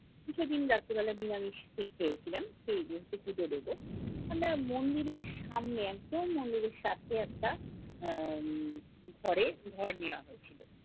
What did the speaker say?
সেদিন রাত্রেবেলা নিরামিষ খেয়েছিলাম, পুজো দেব। আমরা মন্দিরের সামনে একদম মন্দিরের সাথে একটা আহ উম ঘরে ঘর নেওয়া হয়েছিল।